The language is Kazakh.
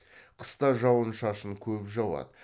қыста жауын шашын көп жауады